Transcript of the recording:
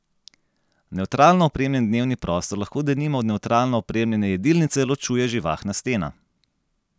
Nevtralno opremljen dnevni prostor lahko denimo od nevtralno opremljene jedilnice ločuje živahna stena.